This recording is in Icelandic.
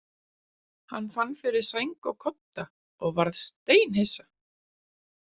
Hann fann fyrir sæng og kodda og var steinhissa.